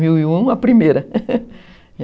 dois mil e um a primeira